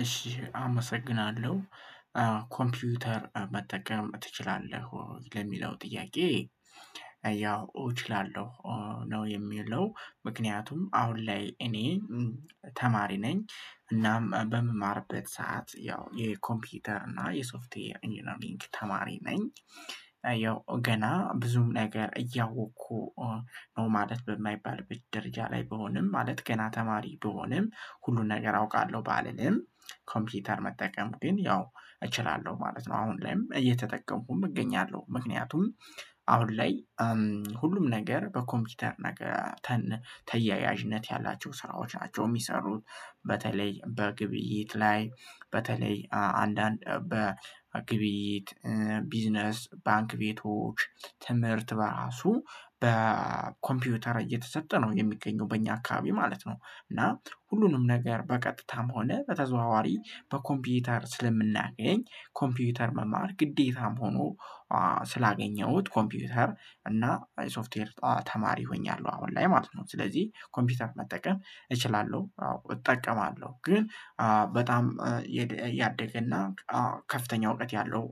እሺ አመሰግናለሁ ኮምፒውተር መጠቀም ትችላለህ ወይ ለሚለው ጥያቄ? ያው እችላለሁ ነው። የሚለው ምክንያቱም አሁን ላይ እኔ ተማሪ ነኝ። እናም በምማርበት ሰዓት ያው የኮምፒውተር እና የሶፍትዌር ኢንጂነሪንገ ተማሪ ነኝ። ያው ገና ብዙም ነገር እያወኩ ነው ማለት በማይባል ደረጃ ላይ ብሆንም ማለት ገና ተማሪ ብሆንም ሁሉን ነገር አውቃለሁ ባልልም ኮምፒውተር መጠቀም ግን ያው እችላለሁ ማለት ነው። አሁን ላይም እየተጠቀምኩም እገኛለሁ ምክንያቱም አሁን ላይ። ሁሉም ነገር በኮምፒውተር ነገር ተያያዥነት ያላቸው ስራዎች ናቸው እሚሰሩት በተለይ በግብይት ላይ በተለይ አንዳንድ በግቢይት ቢዝነስ ባንክ ቤቶች ትምህርት በራሱ በኮምፒውተር እየተሰጠ ነው የሚገኘው በእኛ አካባቢ ማለት ነው። እና ሁሉንም ነገር በቀጥታም ሆነ በተዘዋዋሪ በኮምፒውተር ስለምናገኝ ኮምፒውተር መማር ግዴታም ሆኖ። ስላገኘሁት ኮምፒውተር እና ሶፍትዌር ተማሪ ሆኛለሁ። አሁን ላይ ማለት ነው ስለዚህ ኮምፒውተር መጠቀም እችላለሁ። አዎ እጠቀማለሁ ግን በጣም ያደገና ከፍተኛ እውቀት ያለው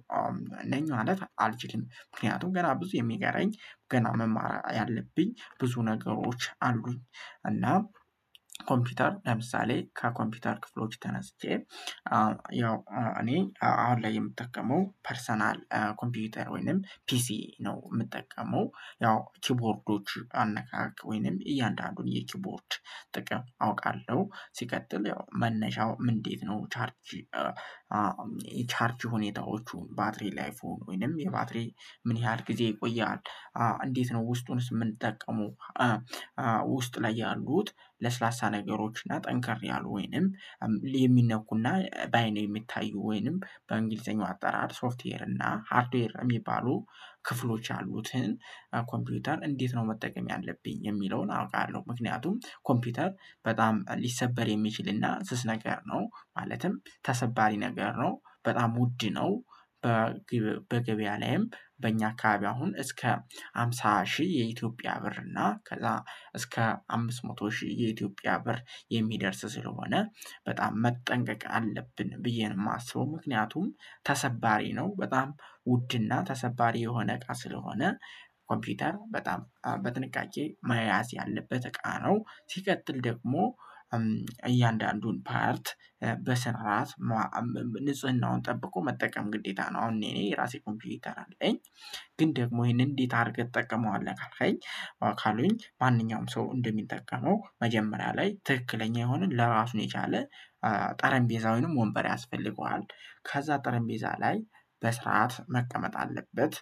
ነኝ ማለት አልችልም። ምክንያቱም ገና ብዙ የሚቀረኝ ገና መማር ያለብኝ ብዙ ነገሮች አሉኝ። እና ኮምፒውተር ለምሳሌ ከኮምፒውተር ክፍሎች ተነስቼ ያው እኔ አሁን ላይ የምጠቀመው ፐርሰናል ኮምፒውተር ወይንም ፒሲ ነው። እምጠቀመው ያው ኪቦርዶች አነካክ ወይንም እያንዳንዱን የኪቦርድ ጥቅም አውቃለሁ ሲቀጥል ያው መነሻው ምን እንዴት ነው? ቻርጅ። ቻርጅ ሁኔታዎቹን ባትሪ ላይፉን ወይንም የባትሪ ምን ያህል ጊዜ ይቆያል? እንዴት ነው ውስጡንስ እምንጠቀመው? ውስጥ ላይ ያሉት ለስላሳ ነገሮች እና ጠንከር ያሉ ወይንም የሚነኩና ባይን የሚታዩ ወይንም በእንግሊዘኛው አጠራር ሶፍትዌር እና ሃርድዌር የሚባሉ ክፍሎች ያሉትን ኮምፒውተር እንዴት ነው መጠቀም ያለብኝ የሚለውን አውቃለሁ። ምክንያቱም ኮምፒውተር በጣም ሊሰበር የሚችልና ስስ ነገር ነው ማለትም ተሰባሪ ነገር ነው በጣም ውድ ነው። በገበያ ላይም በእኛ አካባቢ አሁን እስከ ሃምሳ ሺህ የኢትዮጵያ ብር እና ከዛ እስከ አምስት መቶ ሺህ የኢትዮጵያ ብር የሚደርስ ስለሆነ በጣም መጠንቀቅ አለብን ብዬ ነው የማስበው። ምክንያቱም ተሰባሪ ነው በጣም ውድና ተሰባሪ የሆነ እቃ ስለሆነ ኮምፒውተር በጣም በጥንቃቄ መያዝ ያለበት እቃ ነው። ሲቀጥል ደግሞ እያንዳንዱን ፓርት በስራአት ንጽህናውን ጠብቆ መጠቀም ግዴታ ነው። አሁን እኔ እኔ የራሴ ኮምፒውተር አለኝ። ግን ደግሞ ይሄንን እንዴት አድርገህ ተጠቀመዋለህ ካልከኝ ካሉኝ ማንኛውም ሰው እንደሚጠቀመው መጀመሪያ ላይ ትክክለኛ የሆነ ለራሱ የቻለ ጠረቤዛ ወይም ወንበር ያስፈልገዋል። ከዛ ጠረቤዛ ላይ በስርዓት መቀመጥ አለበት።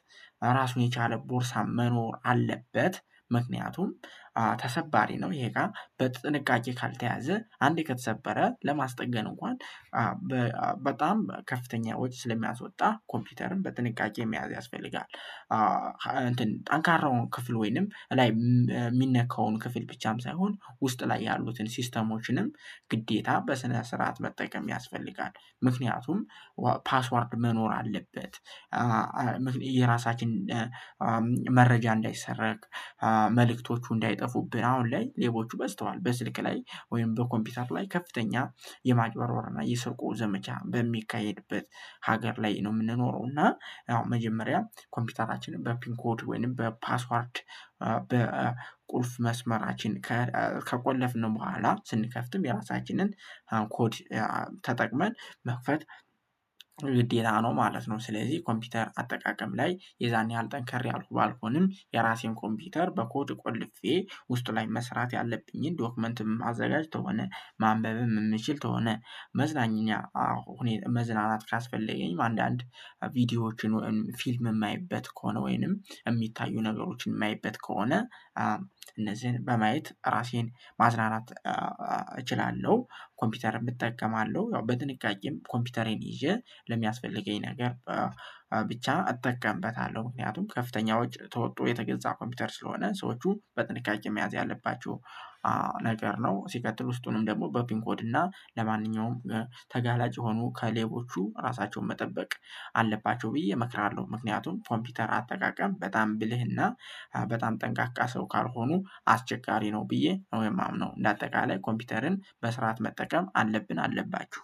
ራሱን የቻለ ቦርሳ መኖር አለበት። ምክንያቱም ተሰባሪ ነው ይሄ እቃ በጥንቃቄ ካልተያዘ አንዴ ከተሰበረ ለማስጠገን እንኳን በጣም ከፍተኛ ወጪ ስለሚያስወጣ ኮምፒውተርን በጥንቃቄ መያዝ ያስፈልጋል። እንትን ጠንካራውን ክፍል ወይንም ላይ እሚነካውን ክፍል ብቻም ሳይሆን ውስጥ ላይ ያሉትን ሲስተሞችንም ግዴታ በስነ ስርዓት መጠቀም ያስፈልጋል። ምክንያቱም ፓስወርድ መኖር አለበት። የራሳችን መረጃ እንዳይሰረቅ መልእክቶቹ እንዳይጠፉብን አሁን ላይ ሌቦቹ በዝተዋል። በስልክ ላይ ወይም በኮምፒውተር ላይ ከፍተኛ የማጭበርበር እና የስርቆት ዘመቻ በሚካሄድበት ሀገር ላይ ነው የምንኖረው። እና አዎ መጀመሪያ ኮምፒውተራችንን በፒን ኮድ ወይንም በፓስወርድ በቁልፍ መስመራችን ከቆለፍን በኋላ ስንከፍትም የራሳችንን ፓን ኮድ ተጠቅመን መክፈት ግዴታ ነው ማለት ነው። ስለዚህ ኮምፒውተር አጠቃቀም ላይ የዛን ያህል ጠንካራ ያልኩ ባልሆንም የራሴን ኮምፒውተር በኮድ ቆልፌ ውስጥ ላይ መስራት ያለብኝን ዶክመንትም አዘጋጅ ከሆነ ማንበብም እምችል ከሆነ። መዝናኛ አሁን መዝናናት ካስፈለገኝ አንዳንድ ቪዲዮዎችን ፊልም እማይበት ከሆነ ወይንም እሚታዩ ነገሮችን እማይበት ከሆነ እነዚህን በማየት ራሴን ማዝናናት እችላለሁ። ኮምፒተርም እጠቀማለሁ ያው በጥንቃቄም ኮምፒውተሬን ይዤ ለሚያስፈልገኝ ነገር ብቻ እጠቀምበታለሁ። ምክንያቱም ከፍተኛ ወጪ ተወቶ የተገዛ ኮምፒውተር ስለሆነ ሰዎቹ በጥንቃቄ መያዝ ያለባቸው ነገር ነው። ሲቀጥል ውስጡንም ደግሞ በፒንኮድ እና ለማንኛውም ተጋላጭ የሆኑ ከሌቦቹ ራሳቸውን መጠበቅ አለባቸው ብዬ እመክራለሁ። ምክንያቱም ኮምፒውተር አጠቃቀም በጣም ብልህና በጣም ጠንቃቃ ሰው ካልሆኑ አስቸጋሪ ነው። ብዬ ነው የማምነው እንደ አጠቃላይ ኮምፒውተርን በስርዓት መጠቀም አለብን አለባችሁ።